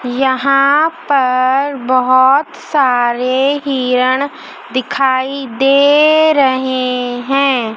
यहां पर बहुत सारे हिरन दिखाई दे रहे हैं।